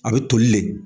A bɛ toli le